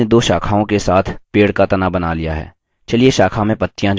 आपने दो शाखाओं के साथ पेड़ का तना बना लिया है!